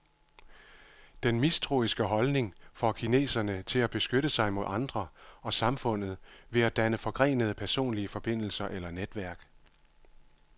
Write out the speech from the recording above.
Den mistroiske holdning får kineserne til at beskytte sig mod andre og samfundet ved at danne forgrenede personlige forbindelser eller netværk.